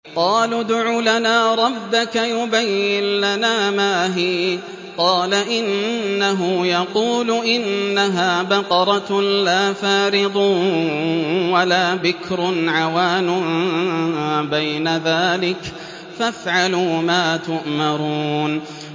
قَالُوا ادْعُ لَنَا رَبَّكَ يُبَيِّن لَّنَا مَا هِيَ ۚ قَالَ إِنَّهُ يَقُولُ إِنَّهَا بَقَرَةٌ لَّا فَارِضٌ وَلَا بِكْرٌ عَوَانٌ بَيْنَ ذَٰلِكَ ۖ فَافْعَلُوا مَا تُؤْمَرُونَ